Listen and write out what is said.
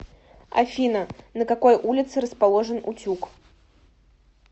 афина на какой улице расположен утюг